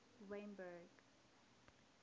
wynberg